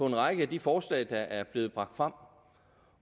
en række af de forslag der er blevet bragt frem